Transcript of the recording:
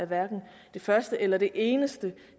hverken det første eller det eneste